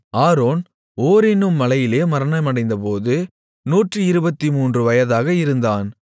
Aaron Hor என்னும் மலையிலே மரணமடைந்தபோது 123 வயதாக இருந்தான்